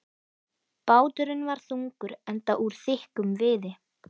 Báturinn var þungur, enda úr þykkum viði.